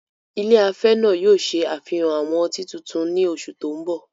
Ilé afẹ́ náà yóò ṣe àfihàn àwọn ọtí tuntun ní oṣù tó ń bọ̀.